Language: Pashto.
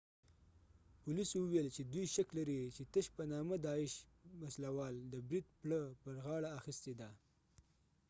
پولیسو وویل چې دوی شک لري چې تش په نامه داعش isil وسله وال د بريد پړه پر غاړه اخیستې ده